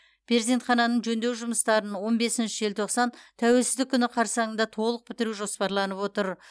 перзентхананың жөндеу жұмыстарын он бесінші желтоқсан тәуелсіздік күні қарсаңында толық бітіру жоспарланып отыр